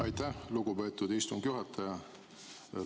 Aitäh, lugupeetud istungi juhataja!